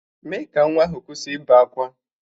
Mee ka nwa ahụ kwụsị ịbe akwa!